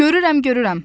Görürəm, görürəm.